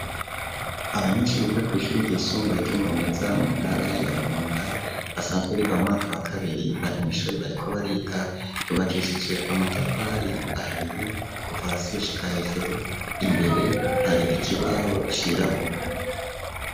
Abanyeshuri biga kw'ishuri ryisumbuye ryo murumeza mu ntara ya Burunga, basanzwe biga mu mwaka wa kabiri, bari mw'ishuri bariko bariga, ryubakishije amatafari ahiye kuva hasi gushika hejuru, imbere hari ikibaho cirabura.